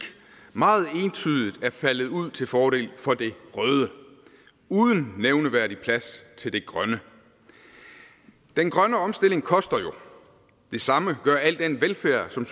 meget entydigt er faldet ud til fordel for det røde uden nævneværdig plads til det grønne den grønne omstilling koster jo det samme gør al den velfærd som